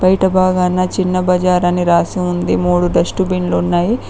బాగాన చిన్న బజార్ అని రాసి ఉంది మూడు డస్ట్ బిన్లు ఉన్నాయి.